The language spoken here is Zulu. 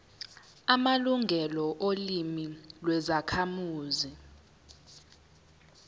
amalungelo olimi lwezakhamuzi